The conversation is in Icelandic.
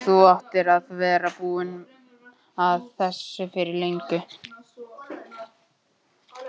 Og þú áttir að vera búinn að þessu fyrir löngu!